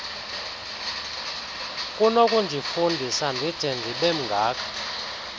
nokundifundisa ndide ndibemngaka